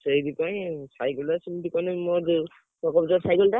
ଆଉ ସେଥିପାଇଁ cycle ରେ ସେମିତି କଲେ ମୁଁ ସକପଞ୍ଚର cycle ଟା।